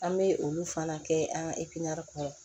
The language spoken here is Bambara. An bɛ olu fana kɛ an ka kɔnɔ